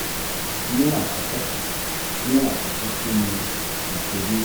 ni akọkọ ni akọkọ kini iṣeduro?